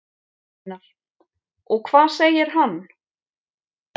Einar: Og hvað segir hann?